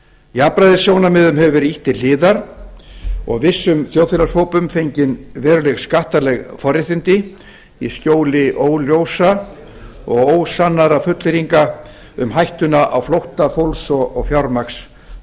jafnræðissjónarmiðum hefur verið ýtt til hliðar og vissum þjóðfélagshópum fengin veruleg skattaleg forréttindi í skjóli óljósra og ósannaðra fullyrðinga um hættuna á flótta fólks og fjármagns